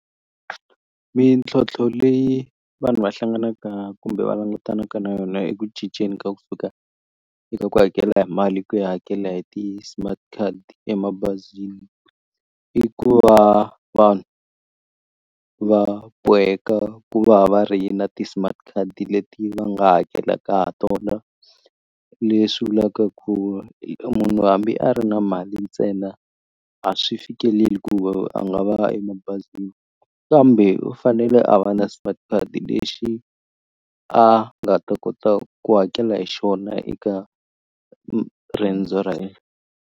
Mintlhontlho leyi vanhu va hlanganaka kumbe va langutanaka na yona eku cinceni ka kusuka eka ku hakela hi mali ku ya hakela hi ti-smart card emabazini i ku va vanhu va boheka ku va va ri na ti-smart card leti va nga hakelaka ha tona leswi vulaka ku munhu hambi a ri na mali ntsena a swi fikeleli ku a nga va emabazini kambe u fanele a va na smart card lexi a nga ta kota ku hakela hi xona eka riendzo .